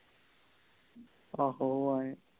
ਆਹੋ ਹੋ ਆਯਾ